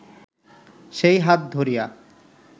সেই হাত ধরিয়া